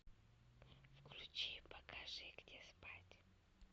включи покажи где спать